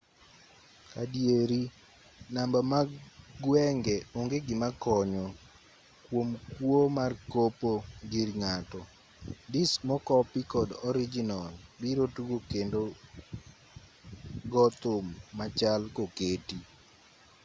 adieri namba mag gwenge onge gima konyo kuom kuo mar kopo gir ng'ato. disk mokopi kod orijinal biro tugo kendo gothum machal koketi.